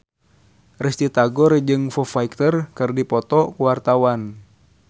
Risty Tagor jeung Foo Fighter keur dipoto ku wartawan